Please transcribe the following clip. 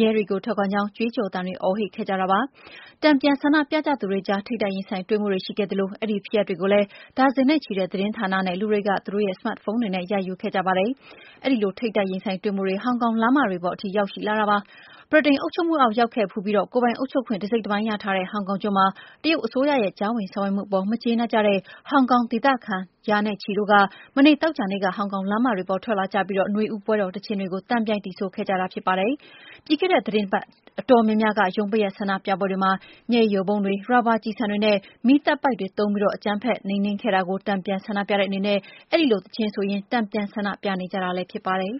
ရဲတွေကို ထောက်ခံကြောင်း ကြွေးကြော်သံတွေ အော်ဟစ်ခဲ့ကြပါတယ်။ တန်ပြန်ဆန္ဒပြကြသူတွေကြား ထိပ်တိုက်ရင်ဆိုင်တွေ့မှုတွေ ရှိခဲ့သလို အဲဒီဖြစ်ရပ်တွေကိုလည်း ဒါဇင်နဲ့ချီတဲ့ သတင်းဌာနတွေနဲ့ လာကြည့်သူတွေက သူတို့ရဲ့ စမတ်ဖုန်းတွေနဲ့ ရိုက်ယူခဲ့ကြပါတယ်။ အဲဒီ ထိပ်တိုက်ရင်ဆိုင်တွေ့မှုတွေ ဟောင်ကောင်လမ်းတွေပေါ်ထိ ရောက်လာခဲ့တာပါ။ ဗြိတိန်အုပ်ချုပ်မှုအောက် ရောက်ခဲ့ဖူးပြီး ကိုယ်ပိုင်အုပ်ချုပ်ခွင့် တစိတ်တပိုင်းရထားတဲ့ ဟောင်ကောင်ကျွန်းမှာ တရုတ်အစိုးရရဲ့ ကြားဝင်ဆောင်ရွက်မှုအပေါ် မကျေနပ်ကြတဲ့ ဟောင်ဟောင်ဒေသခံ ရာနဲ့ချီတို့ဟာ မနေ့ သောကြာနေ့က ဟောင်ကောင်လမ်းမတွေပေါ် ထွက်လာကြပြီး နွေဦးပွဲတော်သီချင်းတွေကို သံပြိုင်သီဆိုခဲ့ကြတာ ဖြစ်ပါတယ်။ ပြီးခဲ့တဲ့ သီတင်းပတ်အတော်များများက ရုံးပိတ်ရက် ဆန္ဒပြပွဲတွေမှာ မျက်ရည်ယိုဗုံးတွေ၊ ရာဘာကျည်ဆန်တွေနဲ့ မီးသတ်ပိုက်တွေသုံးပြီး အကြမ်းဖက်နှိမ်နင်းခဲ့တာကို တန်ပြန်ဆန္ဒပြတဲ့အနေနဲ့ အဲဒီလို သီချင်းဆိုရင်း တန်ပြန်ဆန္ဒပြကြတာလည်း ဖြစ်ပါတယ်။